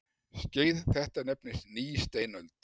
Skeið þetta nefnist nýsteinöld.